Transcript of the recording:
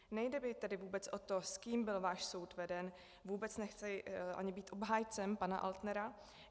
Nejde mi tedy vůbec o to, s kým byl váš soud veden, vůbec nechci ani být obhájcem pana Altnera.